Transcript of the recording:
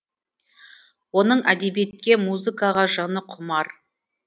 оның әдебиетке музыкаға жаны құмар